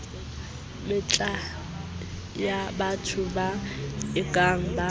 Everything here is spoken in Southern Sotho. metlae yabatho ba ekang ba